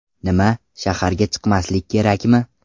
Nima, shaharga chiqmaslik kerakmi?